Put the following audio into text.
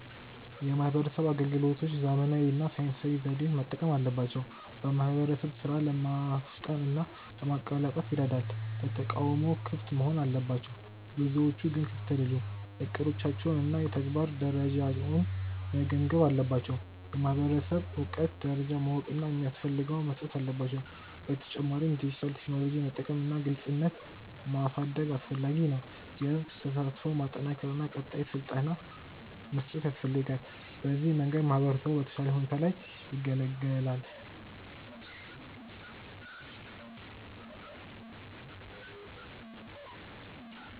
የማህበረሰብ አገልግሎቶች ዘመናዊ እና ሳይንሳዊ ዘዴዎችን መጠቀም አለባቸው። በማህበረሰብ ሥራ ለማፍጠን እና ለማቀላጠፍ ይረዳል። ለተቃውሞ ክፍት መሆን አለባቸው፤ ብዙዎቹ ግን ክፍት አይደሉም። እቅዶቻቸውን እና የተግባር ደረጃውን መገምገም አለባቸው። የማህበረሰብ እውቀት ደረጃን ማወቅ እና የሚፈልገውን መስጠት አለባቸው። በተጨማሪም ዲጂታል ቴክኖሎጂ መጠቀም እና ግልጽነት ማሳደግ አስፈላጊ ነው። የህዝብ ተሳትፎን ማጠናከር እና ቀጣይ ስልጠና መስጠት ያስፈልጋል። በዚህ መንገድ ማህበረሰቡ በተሻለ ሁኔታ ይገለገላል።